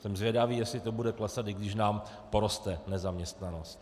Jsem zvědavý, jestli to bude klesat, i když nám poroste nezaměstnanost.